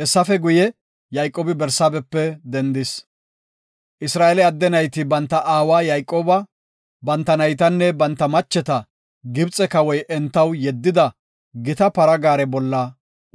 Hessafe guye, Yayqoobi Barsaabepe dendis. Isra7eele adde nayti banta aawa Yayqooba, banta naytanne banta macheta Gibxe Kawoy entaw yeddida gita para gaare bolla